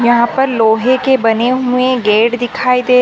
यहाँ पर लोहै के बने हुए गेट दिखाई दे--